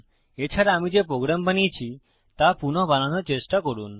এছাড়া আমি যে প্রোগ্রাম বানিয়েছি তা পুনঃ বানানোর চেষ্টা করুন